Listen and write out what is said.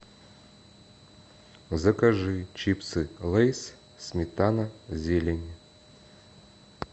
закажи чипсы лейс сметана зелень